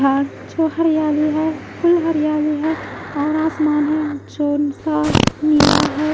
जो हरियाली है फुल हरियाली है और आसमान है जो सा नीला है।